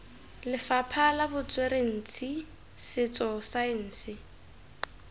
lefapha la botsweretshi setso saense